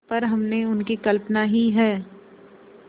पर हमने उनकी कल्पना ही है